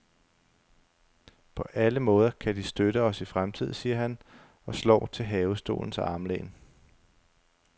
På alle måder kan de støtte os i fremtiden, siger han og slår til havestolens armlæn.